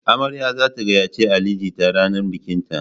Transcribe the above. Amarya za ta gayyace Ali jita ranar bikinta.